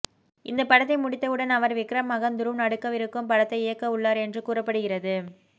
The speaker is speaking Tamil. இந்த படத்தை முடித்தவுடன் அவர் விக்ரம் மகன் துருவ் நடிக்கவிருக்கும் படத்தை இயக்க உள்ளார் என்று கூறப்படுகிறது